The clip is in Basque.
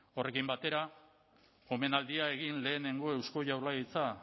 horrekin batera omenaldia egin lehenengo eusko jaurlaritza